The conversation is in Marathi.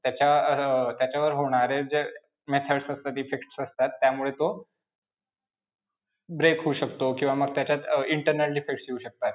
त्याच्या अं त्याच्यावर होणारे जे methods of the defects असतात त्यामुळे तो break होऊ शकतो किंवा मग त्याच्यात अं internal defects येऊ शकतात.